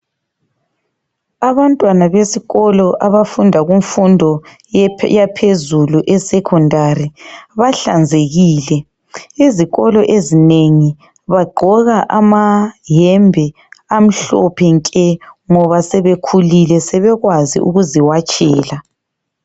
Abantwana besikolo abafunda kumfundo yaphezulu esecondary bahlanzekile. Izikolo ezinengi bagqoka amayembe amhlophe nke ngoba sebekhulile sebekwazi ukuziwatshela.